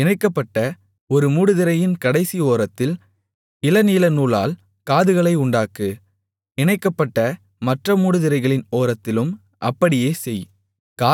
இணைக்கப்பட்ட ஒரு மூடுதிரையின் கடைசி ஓரத்தில் இளநீலநூலால் காதுகளை உண்டாக்கு இணைக்கப்பட்ட மற்ற மூடுதிரைகளின் ஓரத்திலும் அப்படியே செய்